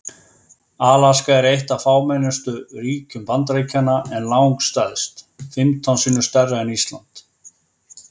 Alaska er eitt af fámennustu ríkjum Bandaríkjanna en langstærst, fimmtán sinnum stærra en Ísland.